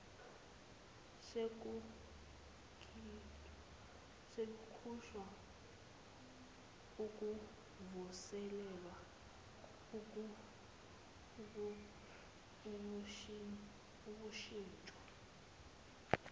sokukhishwa ukuvuselelwa ukushintshwa